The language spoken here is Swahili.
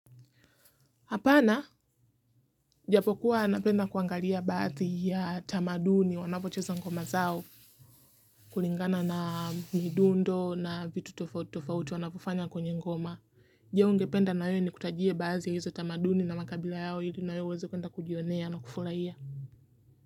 Hapana, japokuwa napenda kuangalia baati ya tamaduni wanapocheza ngoma zao, kulingana na midundo na vitu tofauti wanapofanya kwenye ngoma. Je, ungependa na wewe nikutajie baadhi ya hizo tamaduni na makabila yao ili na wewe uweze kuenda kujionea na kufurahia?